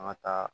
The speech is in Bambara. An ka taa